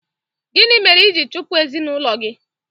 Gịnị mere i ji chụpụ ezinụlọ gị?